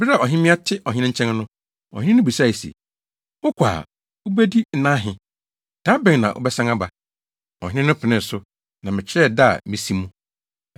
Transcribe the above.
Bere a ɔhemmea te Ɔhene nkyɛn no, Ɔhene no bisae se, “Wokɔ a, wubedi nna ahe? Da bɛn na wobɛsan aba?” Ɔhene penee so, na mekyerɛɛ da a mesi mu.